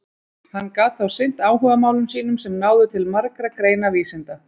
Hann gat þá sinnt áhugamálum sínum sem náðu til margra greina vísinda.